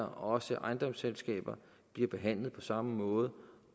og også ejendomsselskaber bliver behandlet på samme måde